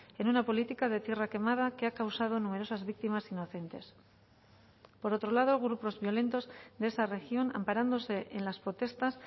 en una política de tierra quemada que ha causado numerosas víctimas inocentes por otro lado grupos violentos de esa región amparándose en las protestas